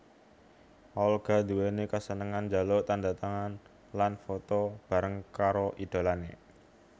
Olga nduwéni kasenengan njaluk tandhatangan lan foto bareng karo idholané